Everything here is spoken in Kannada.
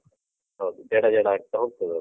ಹೌದು. ಜಡ, ಜಡ ಆಗ್ತಾ ಹೋಗ್ತದದು.